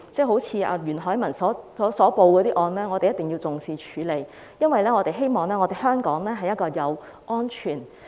好像袁海文報警的案件，一定要重視及處理，因為我們希望香港成為一個安全的城市。